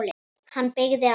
Hann beygði af.